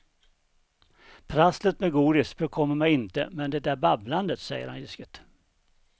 Prasslet med godis bekommer mig inte men det där babblandet, säger han ilsket.